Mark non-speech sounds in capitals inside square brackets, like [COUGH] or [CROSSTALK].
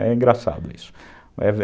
É engraçado isso. [UNINTELLIGIBLE]